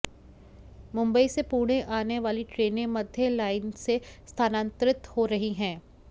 मुंबई से पुणे आने वाली ट्रेनें मध्य लाइन से स्थानांतरित हो रही हैं